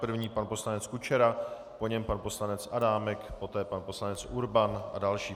První pan poslanec Kučera, po něm pan poslanec Adámek, poté pan poslanec Urban a další.